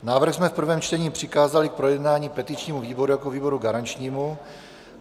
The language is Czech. Návrh jsme v prvém čtení přikázali k projednání petičnímu výboru jako výboru garančnímu.